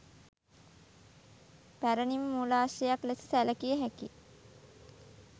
පැරණි ම මූලාශ්‍රයක් ලෙස සැලකිය හැකි